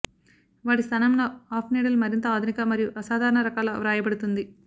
వాటి స్థానంలో of needle మరింత ఆధునిక మరియు అసాధారణ రకాల వ్రాయబడుతుంది